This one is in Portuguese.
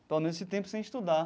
Pelo menos esse tempo sem estudar.